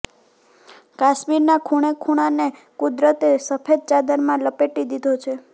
કાશ્મીરના ખૂણેખૂણાને કુદરતે સફેદ ચાદરમાં લપેટી દીધો છે